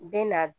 U bɛ na